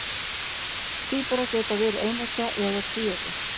Tvíburar geta verið eineggja eða tvíeggja.